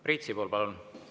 Priit Sibul, palun!